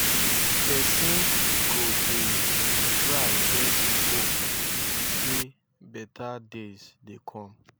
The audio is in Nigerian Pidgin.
pesin go dey try get hope say better days dey come